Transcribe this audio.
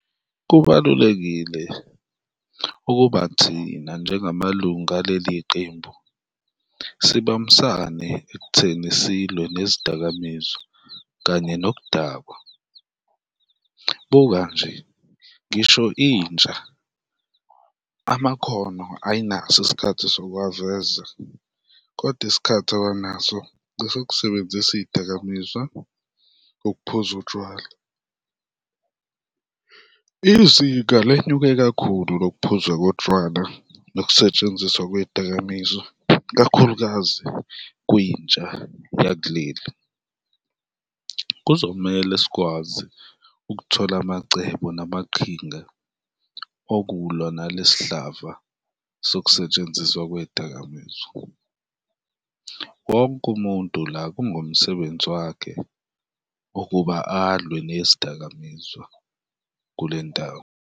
Kubalulekile ukuba thina njengamalunga aleli qembu sibambisane ekutheni silwe nezidakamizwa kanye noku dakwa. Buka nje, ngisho intsha amakhono ayinaso isikhathi sokuwaveza kodwa isikhathi abanaso esokusebenzisa iy'dakamizwa, ukuphuza utshwala. Izinga lenyuke kakhulu lokuphuzwa kotshwala nokusetshenziswa kwey'dakamizwa, ikakhulukazi kwintsha yakuleli, kuzomele sikwazi ukuthola amacebo namaqhinga okulwa nalesihlava sokusetshenziswa kwey'dakamizwa. Wonke umuntu la kungumsebenzi wakhe ukuba alwe nezidakamizwa kule ndawo.